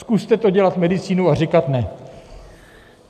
Zkuste to, dělat medicínu a říkat ne.